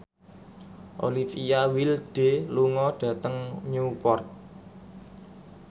Olivia Wilde lunga dhateng Newport